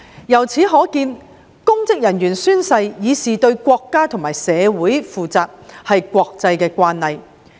由此可見，公職人員宣誓以示對國家和社會負責也是國際慣例。